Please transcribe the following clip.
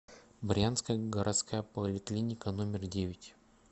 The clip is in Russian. брянская городская поликлиника номер девять